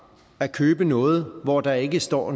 at købe noget hvorpå der ikke står